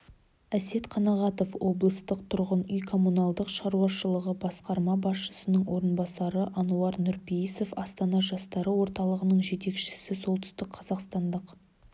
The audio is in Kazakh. әсет қанағатов облыстық тұрғын үй-коммуналдық шаруашылығы басқарма басшысының орынбасары ануар нұрпейісов астана жастары орталығының жетекшісі солтүстікқазақстандық